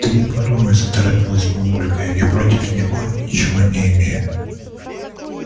ты не подумай заторопилась мамулька я против него ничего не имею